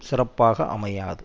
சிறப்பாக அமையாது